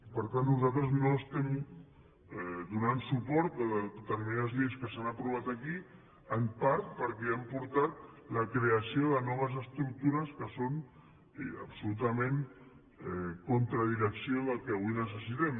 per tant nosaltres no estem donant suport a determinades lleis que s’han aprovat aquí en part perquè han portat la creació de noves estructures que són absolutament contra direcció del que avui necessitem